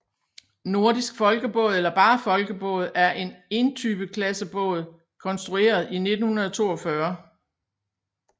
Nordisk Folkebåd eller bare Folkebåd er en entype klassebåd konstrueret i 1942